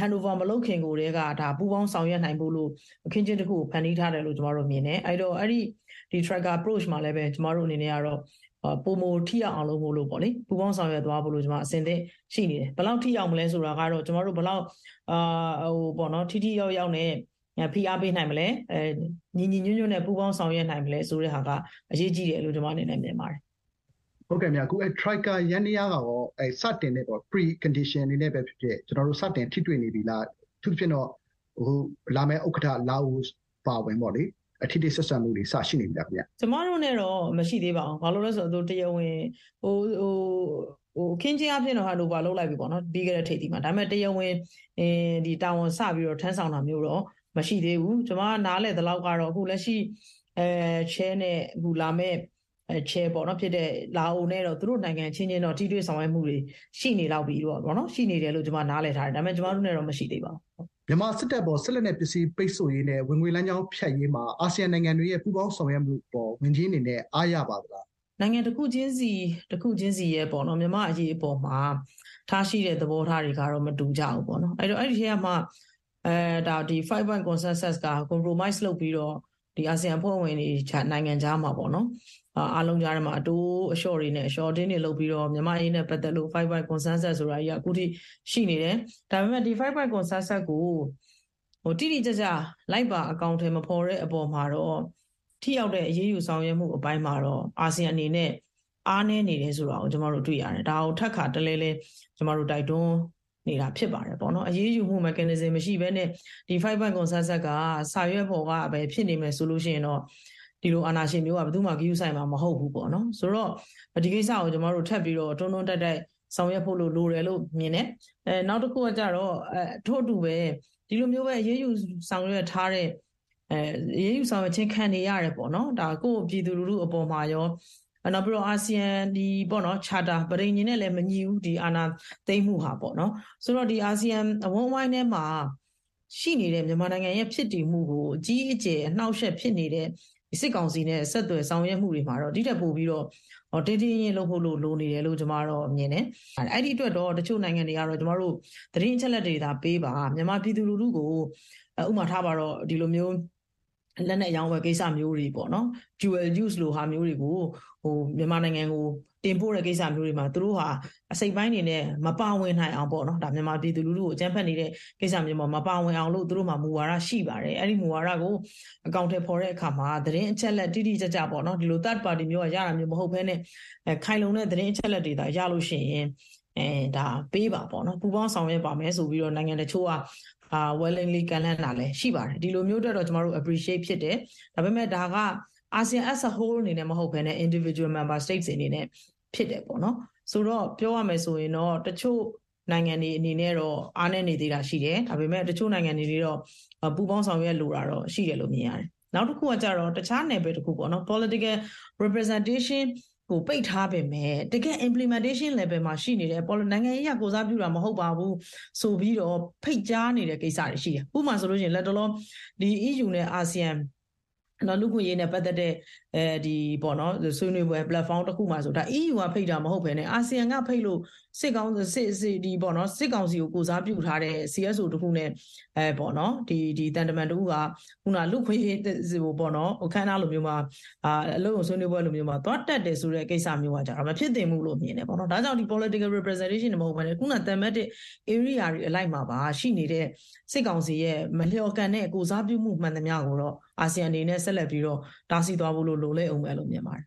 handover မလုပ်ခင်ကိုကတည်းက ပူးပေါင်းဆောင်ရွက်နိုင်ဖို့လို့ အခင်းအကျင်းတခုကို ဖန်တီးထားတယ်လို့ ကျမတို့မြင်တယ်။ အဲဒီတော့ trioca approca မှာလည်း ကျမတို့ အနေနဲ့ကတော့ ပိုမို ထိရောက်အောင်လို့မို့လို့ ပူးပေါင်းဆောင်ရွက်သွားဖို့ အဆင်သင့်ရှိနေတယ်။ ဘယ်လောက်ထိရောက်မလဲဆိုတာကတော့ ကျမတို့ ဘယ်လောက် ထိထိရောက်ရောက်နဲ့ ဖိအားပေးနိုင်မလဲ၊ ညီညီညွတ်ညွတ်နဲ့ ပူးပေါင်းဆောင်ရွက်နိုင်မလဲဆိုတဲ့ဟာက အရေးကြီးတယ်လို့ ကျမ မြင်တယ်။ ငြိမ်းချမ်းအေး။ ။ ဟုတ်ကဲ့ခင်ဗျ။ trioca ယန္တရားကရော စတင်တဲ့...precondition အနေနဲ့ပဲဖြစ်ဖြစ် စတင်ထိတွေ့နေပြီလား၊ အထူးသဖြင့်တော့ လာမယ့်ဥက္ကဋ္ဌ လာအိုအပါအဝင်ပေါ့လေ၊ ထိတွေ့ဆက်ဆံမှုတွေ စရှိနေပြီလားခင်ဗျ။ ဒေါ်ဇင်မာအောင်။ ။ ကျမတို့နဲ့တော့ မရှိသေးပါဘူး။ ဘာလို့လဲဆိုတော့ တရားဝင် အခင်းအကျင်းအားဖြင့်တော့ handover လုပ်လိုက်ပြီပေါ့နော်- ပြီးခဲ့တဲ့ ထိပ်သီး မှာ၊ ဒါပေမဲ့ တရားဝင်စပြီးတော့ တာဝန်ထမ်းဆာင်တာမျိုးတော့ မရှိသေးဘူး။ ကျမ နားလည်သလောက်ကတော့ အခု လက်ရှိ chair နဲ့ လာမယ့် chair ဖြစ်တဲ့ လာအိုနဲ့တော့ သူတို့နိုင်ငံအချင်းချင်းတော့ ထိတွေ့ဆောင်ရွက်မှုတွေ ရှိနေလောက်ပြီပေါ့နော်၊ ရှိနေတယ်လို့ နားလည်ထားတယ်၊ ဒါပေမဲ့ ကျမတို့နဲ့တော့ မရှိသေးပါဘူး။ ငြိမ်းချမ်းအေး။ ။ မြန်မာစစ်တပ်အပေါ် စစ်လက်နက်ပစ္စည်းပိတ်ဆို့ရေး နဲ့ ဝင်ငွေလမ်းကြောင်းဖြတ်ရေးမှာ အာဆီယံနိုင်ငံတွေရဲ့ ပူးပေါင်းဆောင်ရွက်မှုအပေါ် ဝန်ကြီးအနေနဲ့ အားရပါသလား။ ဒေါ်ဇင်မာအောင်။ ။ နိုင်ငံတခုချင်းစီရဲ့ မြန်မာ့အရေးအပေါ်မှာ ထားရှိတဲ့သဘောထားတွေကတော့ မတူကြဘူးပေါ့နော်၊ အဲဒီအထဲကမှ 5 points consensus က compromise လုပ်ပြီးတော့ အာဆီယံအဖွဲ့ဝင်နိုင်ငံတွေ အားလုံးကြားထဲမှာ အတိုးအလျှော့တွေနဲ့၊ အလျှော့အတင်းတွေလုပ်ပြီးတော့ မြန်မာ့အရေးနဲ့ပတ်သက်လို့ 5 points consensus ဆိုတာကြီးက အခုထိ ရှိနေတယ်။ ဒါပေမဲ့ ဒီ 5 points consensus ကို တိတိကျကျ လိုက်ပါ အကောင်အထည်မဖော်တဲ့အပေါ်မှာတော့ ထိရောက်တဲ့အရေးယူ ဆောင်ရွက်မှုအပိုင်းမှာတော့ အာဆီယံအနေနဲ့ အားနည်းနေတယ်ဆိုတာ ကျမတို့တွေ့ရတယ်။ ဒါကို ထပ်ခါတလဲလဲ တိုက်တွန်းနေတာဖြစ်ပါတယ်ပေါ့နော်၊ အရေးယူမှု mechanism မရှိဘဲနဲ့ ဒီ 5 points consensus က စာရွက်ပေါ်ကပဲ ဖြစ်နေမယ် ဆိုလို့ရှိရင်တော့ ဒီလို အာဏာရှင်မျိုးက ဘယ်သူ့မှ ဂရုစိုက်မှာမဟုတ်ဘူးပေါ့နော်။....ဆိုတော့ ဒီကစ္စကို ကျမတို့ ထပ်ပြီးတော့ တွန်းတွန်းတိုက်တိုက် ဆောင်ရွက်ဖို့လိုတယ်လို့ မြင်တယ်။ ထို့အတူပဲ ဒီလိုမျိုး အရေးယူဆောင်ရွက်ခြင်းခံနေရတယ်ပေါ့နော်၊...ကိုယ့်ပြည်သူလူထုအပေါ်မှာရော၊ နောက်ပီးတော့ အာဆီယံ charter ပဋိဉာဥ်နဲ့ မညီဘူးပေါ့နော်၊ ဒီအာဏာသိမ်းမှုဟာ။ ဆိုတော့ ဒီ အာဆီယံအဝန်းအဝိုင်းထဲမှာရှိနေတဲ့ မြန်မာနိုင်ငံရဲ့ဖြစ်တည်မှုကို အကြီးအကျယ်အနှောင့်အယှက်ဖြစ်နေတဲ့ စစ်ကောင်စီနဲ့ ဆက်သွယ်ဆောင်ရွက်မှုတွေမှာတော့ ဒိထက်ပိုပြီးတော့ တင်းတင်းရင်းရင်းလုပ်ဖို့ လိုနေတယ်လို့ ကျမတော့မြင်တယ်။ အဲဒီအတွက်တော့ တချို့နိုင်ငံတွေကတော့ ကျမတို့ သတင်းအချက်အလက်တွေသာ ပေးပါ၊ မြန်မာပြည်သူလူထုကို ဥပမာ ထားပါတော့ - ဒီလိုမျိုး လက်နက်အရောင်းအဝယ်ကိစ္စမျိုးတွေပေါ့နော်၊ လို ဟာမျိုးတွေကို မြန်မာနိုင်ငံကို တင်ပို့တဲ့ကိစ္စမျိုးတွေမှာ သူတို့ ဟာ အစိတ်အပိုင်းအနေနဲ့ မပါဝင်နိုင်အောင် မြန်မာပြည်သူလူထုကို အကြမ်းဖက်နေတဲ့ကိစ္စတွေမှာ မပါဝင်အောင်လို့ သူတို့မှာ မူဝါဒရှိပါတယ်။ အဲဒီမူဝါဒကို အကောင်အထည်ဖော်တဲ့အခါမှာ သတင်းအချက်အလက် တိတိကျကျ ပေ့ါနော်၊ ဒီလို third party ကနေ ရတာမျိုးမဟုတ်ဘဲနဲ့ ခိုင်လုံတဲ့သတင်းအချက်အလက်တွေသာ ရလို့ရှိရင် ပေးပါ၊ ပူးပေါင်းဆောင်ရွက်ပါမယ်ဆိုပြီးတော့ နိုင်ငံတချို့က willingly ကမ်းလှမ်းတာလည်း ရှိပါတယ်။ ဒီလိုမျိုးအတွက်တော့ ကျမတို့ appreciate ဖြစ်တယ်။ ဒါပေမဲ့ ဒါက အာဆီယံ as a whole အနေနဲ့မဟုတ်ဘဲ individual member state အနေနဲ့ဖြစ်တယ်ပေါ့နော်။ ဆိုတော့ ပြောရမယ်ဆိုရင်တော့ တချို့ နိုင်ငံတွေအနေနဲ့တော့ အားနည်းနေသေးတာ ရှိတယ်။ ဒါပေမဲ့ တချို့နိုင်ငံတွေအနေနဲ့တော့ ပူးပေါင်းဆောင်ရွက်လိုတာ ရှိတယ်လို့ မြင်ရတယ်။ နောက်တခုကကျတော့ တခြားနယ်ပယ်တခုကပေါ့နော်၊ political representation ပိတ်ထားပေမဲ့ တကယ့် implimentation level မှာ ရှိနေတဲ့ 'နိုင်ငံရေးအရ ကိုယ်စားပြုတာမဟုတ်ပါဘူး' ဆိုပြီးတော့ ဖိတ်ကြားနေတဲ့ကိစ္စတွေရှိတယ်။ ဥပမာဆိုလို့ရှိရင် လတ်တလော EU နဲ့ အာဆီယံ လူ့အခွင့်အရေးနဲ့ပတ်သက်တဲ့ဆွေးနွေးပွဲ ပလက်ဖောင်းတခုမှာဆိုရင် EU ကဖိတ်တာမဟုတ်ဘဲနဲ့ အာဆီယံကဖိတ်လို့ စစ်ကောင်စီကို ကိုယ်စားပြုထားတဲ့ CSO တခုနဲ့ သံတမန်တဦးက အခုနက လူ့အခွင့်အရေးအခမ်းအနားလိုမျိုးမှာ အလုပ်ရုံဆွေးနွေးပွဲလိုမျိုးမှာ သွားတက်တဲ့ ကိစ္စမျိုးက မဖြစ်သင့်ဘူးလို့မြင်တယ်။ ဒါ့ကြောင့် political representation တွေတွင်မဟုတ်ဘဲနဲ့.....ဧရိယာတွေအလိုက်မှာ မှာ ရှိနေတဲ့ စစ်ကောင်စီရဲ့ မလျော်ကန်တဲ့ကိုယ်စားပြုမှုမှန်သမျှကိုတော့ အာဆီယံအနေနဲ့ဆက်လက်ပြီးတော့ တားဆီးသွားဖို့ လိုလိမ့်အုံးမယ်လို့ မြင်ပါတယ်။